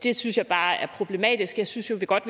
det synes jeg bare er problematisk jeg synes jo godt